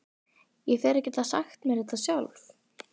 Ég fer að geta sagt mér þetta sjálf.